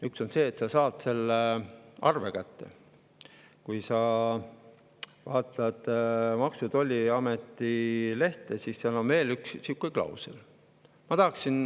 Üks asi on see, et sa saad arve kätte, aga kui sa vaatad Maksu‑ ja Tolliameti lehte, siis seal on sihukene klausel.